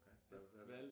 Okay hvad valgt